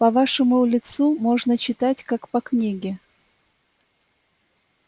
по вашему лицу можно читать как по книге